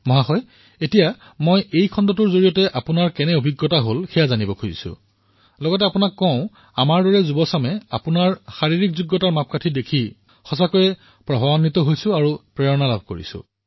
মহাশয় মই এইটো জানিবলৈ বিচাৰিছো যে আপুনি এই খণ্ডটোত কেনে অভিজ্ঞতা লাভ কৰিলে আৰু শেষত মই এটা কথা সংযোজিত কৰিব বিচাৰিম যে আপোনাৰ স্বাস্থ্য দেখি আমাৰ দৰে নৱ প্ৰজন্মই অধিক আকৰ্ষিত হৈছো অধিক উৎসাহিত হৈছো আপোনাৰ সুস্বাস্থ্য দেখি